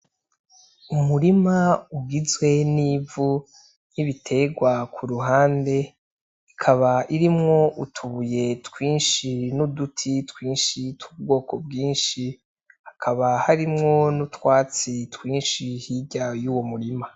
Umurima ugizwe n'ivu n'ibitegwa ku ruhande ukaba irimo utubuye twinshi n'uduti twinshi tw'ubwoko bwinshi hakaba harimo n'utwatsi twinshi hirya yuwo murima.